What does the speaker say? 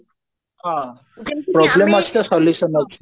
ହଁ problem ଅଛି ତ solution ଅଛି